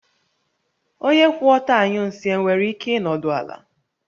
Onye kwụ ọtọ anyụ nsị e nwere ike ịnọdụ ala?